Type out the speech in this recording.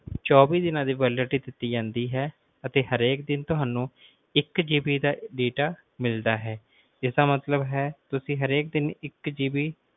ਇਸਤੇਮਾਲ ਕਰ ਸਕਦੇ ਹੋ ਜਿਸ ਦੀ ਹੋਵੇਗੀ speedfourG ਜੇ ਇਸ ਤੋਂ ਅਲਾਵਾ ਜੇ ਤੁਸੀਂ ਥੋੜੇ ਜੇ ਪੈਸੇ ਹੋਰ ਘਾਟ ਖਰਚ ਕਰਨਾ ਚਹੁਣੇ ਹੋ ਤਾਂ ਸਾਡੇ ਕੋਲ ਇੱਕ ਸੌ ਉਂਣਜਾ ਰੁਪਏ ਦਾ plan ਹੈ